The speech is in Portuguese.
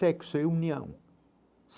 Sexo é união.